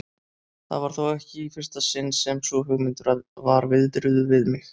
Það var þó ekki í fyrsta sinn sem sú hugmynd var viðruð við mig.